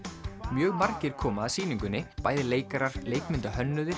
mjög margir koma að sýningunni bæði leikarar